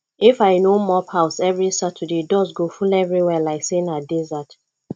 if i no mop house every saturday dust go full everywhere like say na desert